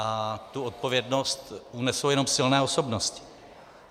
A tu odpovědnost unesou jenom silné osobnosti.